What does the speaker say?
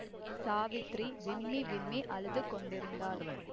சாவித்திரி விம்மி விம்மி அழுது கொண்டிருந்தாள்